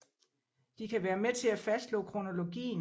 De kan være med til at fastslå kronologien